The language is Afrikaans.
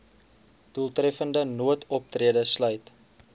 doeltreffende noodoptrede sluit